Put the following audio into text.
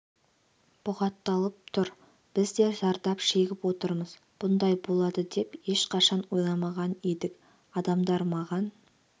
бұғатталып тұр біз де зардап шегіп отырмыз бұндай болады деп ешқашан ойламаған едік адамдар маған